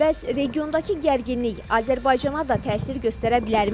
Bəs regiondakı gərginlik Azərbaycana da təsir göstərə bilərmi?